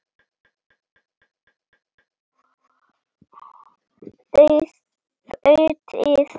Þið vitið.